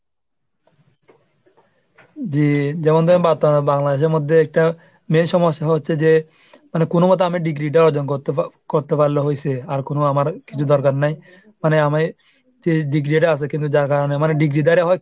যে যেমন ধরুন বাত ⁓ বাংলাদেশের মধ্যে একটা main সমস্যা হচ্ছে যে কোনো মতে আমি degree টা অর্জন করতে করতে পারলে হইছে আর কোনো আমার কিছু দরকার নাই। মানে আমি যে degree টা আছে কিন্তু যার কারণে মানে degree ধারা হয়